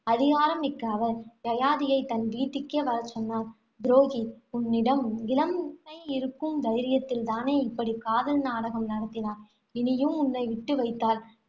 அதிகாரம் மிக்க அவர், யயாதியை தன் வீட்டுக்கே வரச்சொன்னார். துரோகி உன்னிடம் இளமை இருக்கும் தைரியத்தில் தானே இப்படி காதல் நாடகம் நடத்தினாய். இனியும், உன்னை விட்டு வைத்தால்,